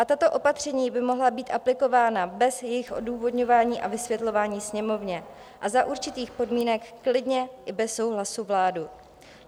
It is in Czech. A tato opatření by mohla být aplikována bez jejich odůvodňování a vysvětlování Sněmovně a za určitých podmínek klidně i bez souhlasu vlády.